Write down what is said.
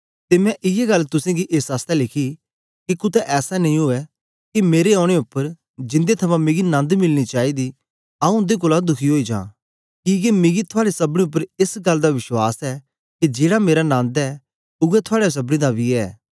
ते मैं इयै गल्ल तुसेंगी एस आसतै लिखी के कुतै ऐसा नेई उवै के मेरे औने उपर जिंदे थमां मिकी नन्द मिलना चाईदा आंऊँ उन्दे कोलां दुखी ओई जां किके मिकी थुआड़े सबनी उपर एस गल्ल दा विश्वास ऐ के जेड़ा मेरा नन्द ऐ उवै थुआड़े सबनी दा बी ऐ